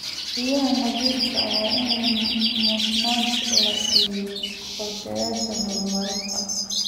Biyaha nadiifka ah waa in mudnaanta la siiyo qorshayaasha horumarinta.